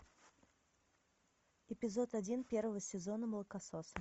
эпизод один первого сезона молокососы